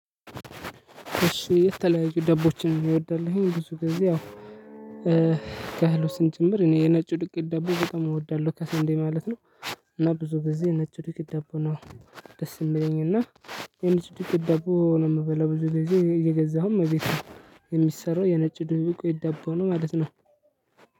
እሺ የተለያየ ደንቦችን እወዳለሁኝ ብዙ ግዜ ያው ከህሎች ጭምር እኔ የነጩ ዱቄት ዳቦ ደግሞ በጣም እወዳለሁ ከሰንዴ ማለት ነው። እና ብዙ ግዜ የነጭ ዱቄት ዳቦ ነው። ደስ የሚለኝ እና የነጭ ዱቄት ዳቦ ነው የምበላው ብዙ ጊዜ እየገዛሁም እቤት ነው። የሚሰራው የነጭ ዱቄት ዳቦ ነው ማለት ነው።